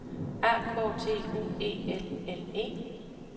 A K T U E L L E